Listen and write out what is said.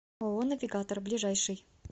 ооо навигатор ближайший